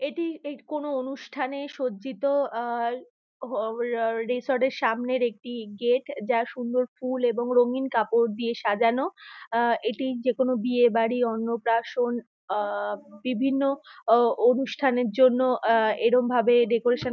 এটি কোনো অনুষ্ঠানে সজ্জিত আহ রিসোর্ট -এর সামনের একটি গেট | যার সুন্দর ফুল এবং রঙ্গিন কাপড় দিয়ে সাজানো | আহ এটি যেকোনো বিয়ে বাড়ি অন্নপ্রাশন আহ বিভিন্ন অনুষ্ঠানের জন্য | আহ এরম ভাবে ডেকোরেশন --